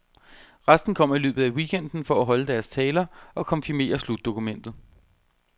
Resten kommer i løbet af weekenden for at holde deres taler og konfirmere slutdokumentet.